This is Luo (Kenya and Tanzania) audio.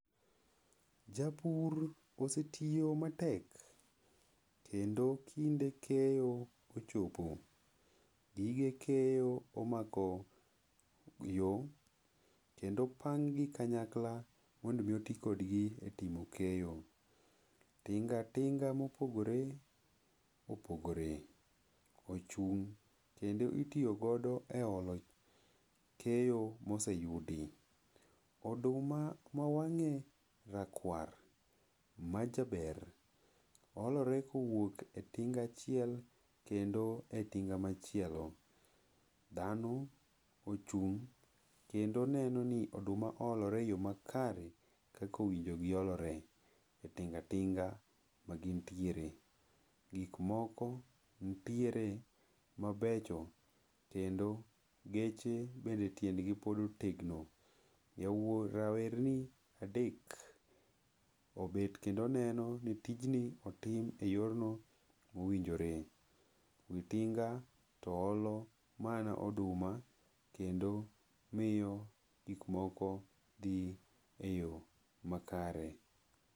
Japur osetiyo matek. Kendo kinde keyo ochopo. Gige keyo omako yo kendo opanggi kanyakla mondo omi oti kodgi e timo keyo. Tinga tinga mopogore opogore ochung' kendo itiyo godo e olo keyo ma oseyudi. Oduma ma mawang'e rakwar majaber, olore kowuok e tings achiel kendo e tinga machielo. Dhano ochung' kendo neno ni oduma olore e yo makare kaka owinji giolore e tinga tinga magintiere. Gik moko nitiere mabecho kendo geche bende tiendgi pod otegno. Rawerni adek obet kendo neno ni tijni otim e yo mowinjore. Wi tinga to olo mana oduma kendo miyo gik moko dhi e yo makare.